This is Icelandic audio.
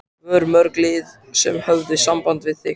Voru mörg lið sem höfðu samband við þig?